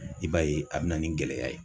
I b'a ye a bɛ na ni gɛlɛya ye.